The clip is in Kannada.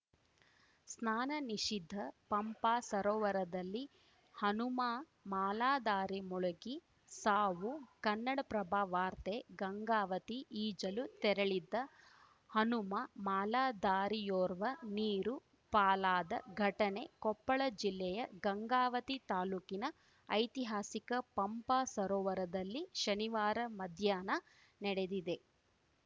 ಸ್ನಾನ ನಿಷಿದ್ಧ ಪಂಪಾ ಸರೋವರದಲ್ಲಿ ಹನುಮ ಮಾಲಾಧಾರಿ ಮುಳುಗಿ ಸಾವು ಕನ್ನಡಪ್ರಭ ವಾರ್ತೆ ಗಂಗಾವತಿ ಈಜಲು ತೆರಳಿದ್ದ ಹನುಮ ಮಾಲಾಧಾರಿಯೋರ್ವ ನೀರು ಪಾಲಾದ ಘಟನೆ ಕೊಪ್ಪಳ ಜಿಲ್ಲೆಯ ಗಂಗಾವತಿ ತಾಲೂಕಿನ ಐತಿಹಾಸಿಕ ಪಂಪಾ ಸರೋವರದಲ್ಲಿ ಶನಿವಾರ ಮಧ್ಯಾಹ್ನ ನಡೆದಿದೆ